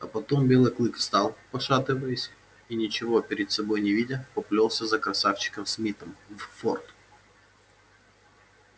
а потом белый клык встал пошатываясь и ничего перед собой не видя поплёлся за красавчиком смитом в форт